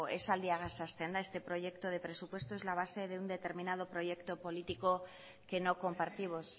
esaldiagaz hasten da este proyecto de presupuesto es la base de un determinado proyecto político que no compartimos